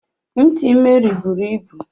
Ntị Mary bụrụ ịbụ.